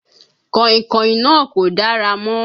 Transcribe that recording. Kàìnkàìn náà kò dára mọ́.